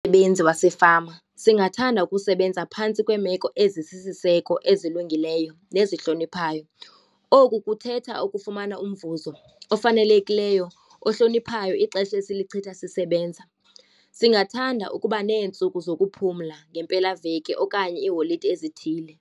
benzi wasefama singathanda ukusebenza phantsi kweemeko ezisisiseko, ezilungileyo nezihloniphayo. Oku kuthetha ukufumana umvuzo ofanelekileyo, ohloniphayo ixesha esilichitha sisebenza. Singathanda ukuba neentsuku zokuphumla ngempelaveki okanye iiholide ezithile.